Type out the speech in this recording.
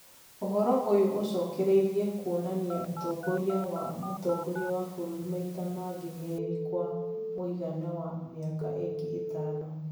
Ũhoro ũyũ ũcokereria kwonania ũtongoria wa mũtongoria wa bũrũri maita mangĩ merĩ kwa mũigana wa mĩaka ĩngĩ ĩtano